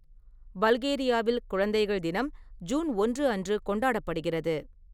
பல்கேரியாவில், குழந்தைகள் தினம் ஜூன் ஒன்று அன்று கொண்டாடப்படுகிறது.